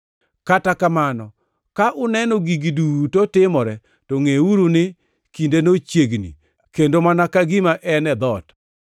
Kata kamano, ka uneno gigi duto timore to ngʼeuru ni kindeno chiegni, kendo mana ka gima en e dhoot.